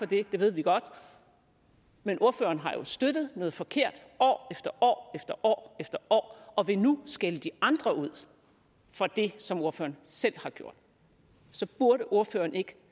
det det ved vi godt men ordføreren har jo støttet noget forkert år efter år og vil nu skælde de andre ud for det som ordføreren selv har gjort så burde ordføreren ikke